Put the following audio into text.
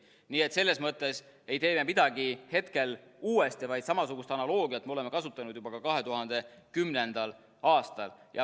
Nii et selles mõttes ei tee me midagi hetkel uuesti, vaid samasugust analoogiat me oleme kasutanud juba 2010. aastal.